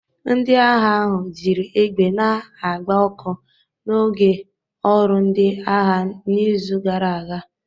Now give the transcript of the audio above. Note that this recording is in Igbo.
Ndị agha ahụ jiri egbe na-agba ọkụ n'oge ọrụ ndị agha n'izu gara aga.